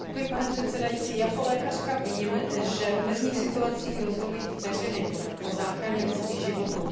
Pane předsedající, jako lékařka vím, že v mezních situacích rozhodují vteřiny o záchraně lidských životů.